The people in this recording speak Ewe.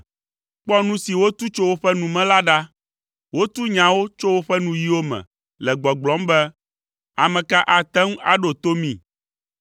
Kpɔ nu si wotu tso woƒe nu me la ɖa, wotu nyawo tso woƒe nuyiwo me le gbɔgblɔm be, “Ame ka ate ŋu aɖo to mí?”